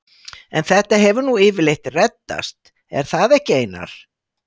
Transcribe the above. En þetta hefur nú yfirleitt reddast, er það ekki Einar?